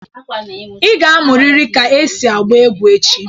Ị ga-amụrịrị ka esi agba egwu echi